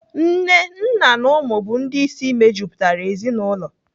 Nne, nna na ụmụ bụ ndị isi mejupụtara ezinaụlọ.